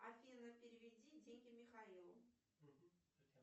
афина переведи деньги михаилу